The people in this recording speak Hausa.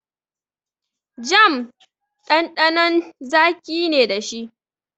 Jam ɗanɗanon zaƙi ne dashi.